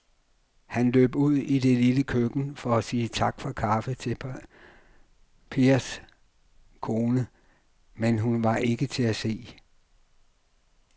Han løb ud i det lille køkken for at sige tak for kaffe til Pers kone, men hun var ikke til at se.